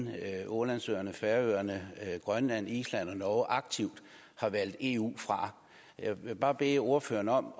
ålandsøerne færøerne grønland island og norge aktivt har valgt eu fra jeg vil bare bede ordføreren om